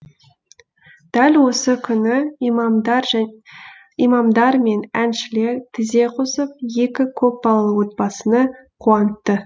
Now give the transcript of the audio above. дәл осы күні имамдар мен әншілер тізе қосып екі көпбалалы отбасыны қуантты